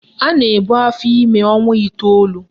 A na-ebu afọime ọnwa iteolu